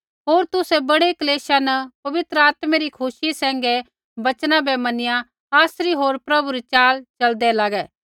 होर तुसै बड़ै क्लेशा न पवित्र आत्मै री खुशी सैंघै वचना बै मैनिया आसरी होर प्रभु री च़ाल च़लदै लागै